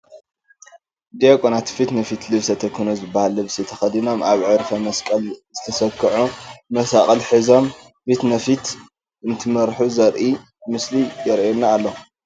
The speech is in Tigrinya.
ዲያቆናት ፊት ንፊት ልብሰ ተክህኖ ዝበሃል ልብሲ ተኸዲኖም፣ ኣብ ዕርፈ መስቀል ዝተሰክዑ መሳቕል ሒዞም ፊት ንፊት እንትመርሑ ዘርኢ ምስሊ ይርአየና ኣሎ፡፡